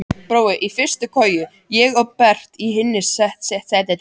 Brói í fyrstu koju, ég og Berti í hinu settinu.